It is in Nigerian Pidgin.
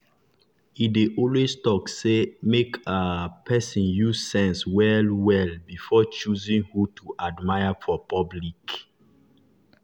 e dey always talk say make um person use sense well well before choosing who to admire for public.